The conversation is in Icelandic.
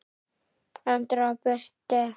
Andra og Birtu.